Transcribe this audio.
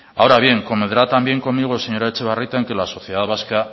ahora bien convendrá también conmigo señora etxebarrieta en que la sociedad vasca